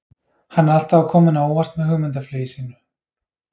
Hann er alltaf að koma henni á óvart með hugmyndaflugi sínu.